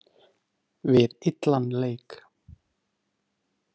Við illan leik.